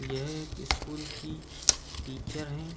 यह एक स्कूल की टीचर है।